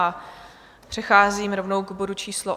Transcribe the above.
A přecházím rovnou k bodu číslo